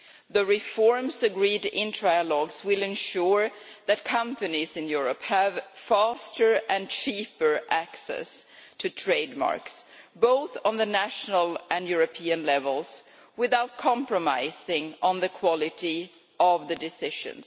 The reforms agreed in trialogues will ensure that companies in Europe have faster and cheaper access to trademarks, both at national and European levels, without compromising on the quality of the decisions.